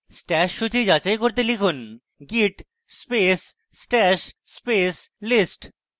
stash সূচী যাচাই করতে লিখুন git space stash space list